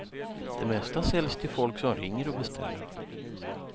Det mesta säljs till folk som ringer och beställer.